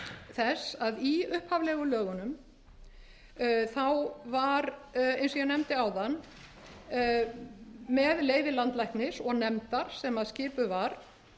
þess að í upphaflegu lögunum var eins og ég nefndi áðan með leyfi landlæknis og nefndar sem skipuð var heimilaðar